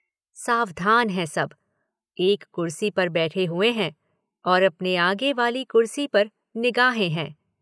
सावधान हैं सब। एक कुर्सी पर बैठे हुए हैं और अपने आगे वाली कुर्सी पर निगाहें हैं।